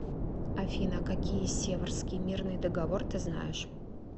афина какие севрский мирный договор ты знаешь